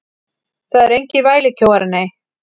Þeir eru engir vælukjóar, nei.